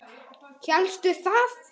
Hélstu það?